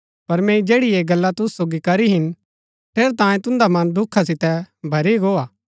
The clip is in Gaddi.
पर मैंई जैड़ी ऐह गल्ला तुसु सोगी करी हिन ठेरैतांये तुन्दा मन दुखा सितै भरी गो हा